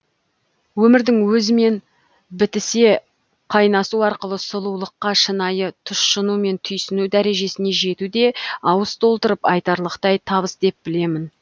өмірдің өзімен біте қайнасу арқылы сұлулыққа шынайы тұшыну мен түйсіну дәрежесіне жету де ауыз толтырып айтарлықтай табыс деп білемін